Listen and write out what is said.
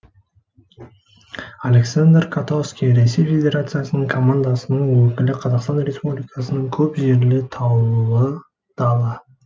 александр котовский ресей федерациясының командасының өкілі қазақстан республикасының көп жері таулы дала